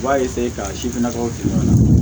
U b'a ka sifinnakaw tigɛ ɲɔgɔn na